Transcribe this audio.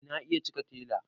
eh na iya cike tela